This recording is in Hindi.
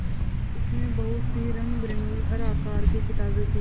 उसमें बहुत सी रंगबिरंगी हर आकार की किताबें थीं